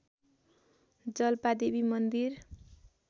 जालपादेवी मन्दिर